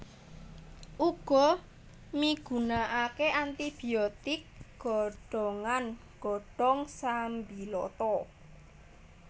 Uga migunakake anti biotik godhongan godhong sambiloto